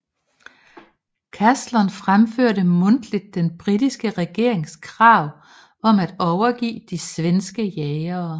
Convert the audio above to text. Caslon fremførte mundtligt den britiske regerings krav om at overgive de svenske jagere